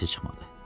Səsi çıxmadı.